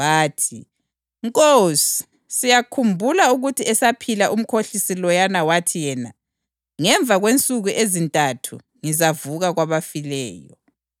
Bathi, “Nkosi, siyakhumbula ukuthi esaphila umkhohlisi loyana wathi yena, ‘Ngemva kwensuku ezintathu ngizavuka kwabafileyo.’